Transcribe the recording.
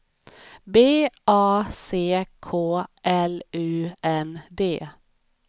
B A C K L U N D